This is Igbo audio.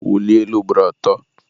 wulie elu ugboro atọ!